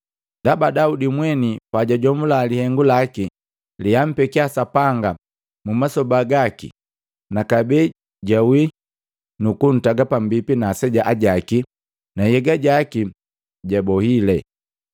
“Ndaba, Daudi mweni pajajomula lihengu laki leampekia Sapanga mumasoba gaki na kabee jwawi nukuntaga pambipi na aseja ajaki na nhyega jaki jabohile.